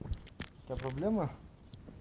у тебя проблемы